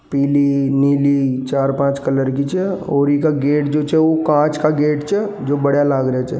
पीली नीली चार पांच कलर की जो है और इसका और इसका गेट छे जो कांच का गेट जो जो बढ़िया लग रहा छे।